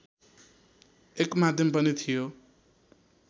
एक माध्यम पनि थियो